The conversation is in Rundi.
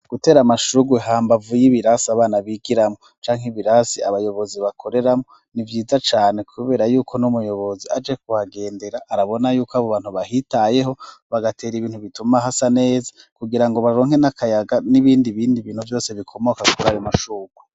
Gutera amashurwe hambavu y'ibirasi abana bigiramwo canke ibirasi abayobozi bakoreramwo ni vyiza cane, kubera yuko n'umuyobozi aje kuhagendera arabona yuko abo bantu bahitayeho bagatera ibintu bituma hasa neza kugira ngo baronke n'akayaga n'ibindi bindi bintu vyose bikomoka kurari mashurwa.